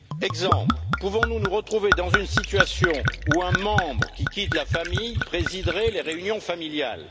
Exemple pouvons nous nous retrouver dans une situation où un membre qui quitterait la famille présiderait les réunions familiales?